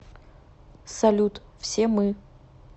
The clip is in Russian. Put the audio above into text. салют все мы